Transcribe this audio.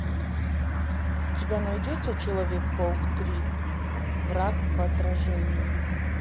у тебя найдется человек паук три враг в отражении